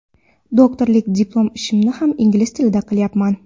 Doktorlik diplom ishimni ham ingliz tilida qilyapman.